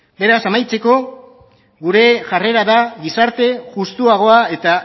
beraz amaitzeko gure jarrerara gizarte justuagoa eta